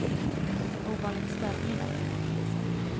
En ovanligt stökig natt, enligt polisen.